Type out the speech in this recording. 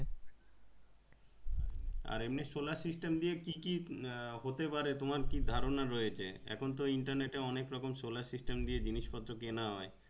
আর এমনি solar system দিয়ে কি কি আহ হতে পারে তোমার কি ধারণা রয়েছে এখুন তো internet এ অনেক রকম solar system দিয়ে জিনিস পত্র কেনা হয়।